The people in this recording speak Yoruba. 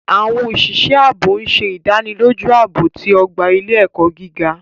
Awọn oṣiṣẹ aabo ń ṣe idaniloju aabo ti ogba ile-ẹkọ giga.